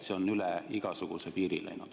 See on üle igasuguse piiri läinud.